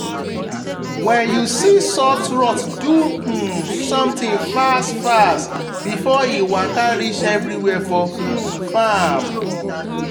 when you see soft rot do um something fast fast before e waka reach everywhere for um farm.